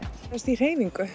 í hreyfingu